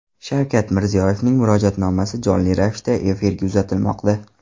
Shavkat Mirziyoyevning Murojaatnomasi jonli ravishda efirga uzatilmoqda .